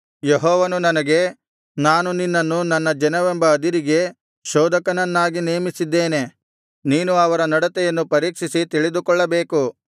ಯೆಹೋವನು ನನಗೆ ನಾನು ನಿನ್ನನ್ನು ನನ್ನ ಜನವೆಂಬ ಅದಿರಿಗೆ ಶೋಧಕನನ್ನಾಗಿ ನೇಮಿಸಿದ್ದೇನೆ ನೀನು ಅವರ ನಡತೆಯನ್ನು ಪರೀಕ್ಷಿಸಿ ತಿಳಿದುಕೊಳ್ಳಬೇಕು